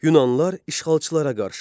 Yunanlılar işğalçılara qarşı.